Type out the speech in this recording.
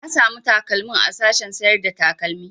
Na samu takalmin a sashen sayar da takalmi